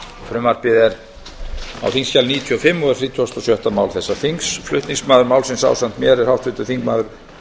frumvarpið er á þingskjali níutíu og fimm og er þrítugasta og sjötta mál þessa þings flutningsmaður málsins ásamt mér er háttvirtur þingmaður